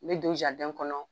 Me don kɔnɔ.